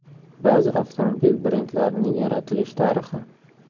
Ba’zi avtomobil brendlarining yaratilish tarixi.